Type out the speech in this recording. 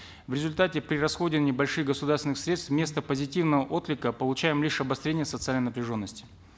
в результате при расходовании больших государственных средств вместо позитивного отклика получаем лишь обострение социальной напряженности